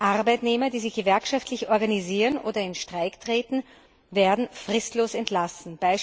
Arbeitnehmer, die sich gewerkschaftlich organisieren oder in Streik treten, werden fristlos entlassen.